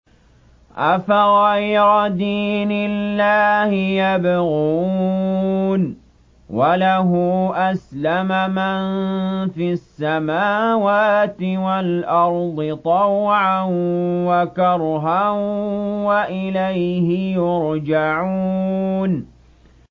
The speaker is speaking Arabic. أَفَغَيْرَ دِينِ اللَّهِ يَبْغُونَ وَلَهُ أَسْلَمَ مَن فِي السَّمَاوَاتِ وَالْأَرْضِ طَوْعًا وَكَرْهًا وَإِلَيْهِ يُرْجَعُونَ